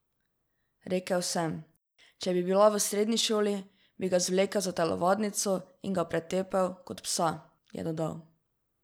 Rekel sem: 'Če bi bila v srednji šoli, bi ga zvlekel za telovadnico in ga pretepel kot psa'," je dodal.